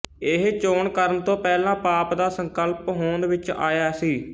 ਇਹ ਚੋਣ ਕਰਨ ਤੋਂ ਪਹਿਲਾਂ ਪਾਪ ਦਾ ਸੰਕਲਪ ਹੋਂਦ ਵਿਚ ਨਹੀਂ ਆਇਆ ਸੀ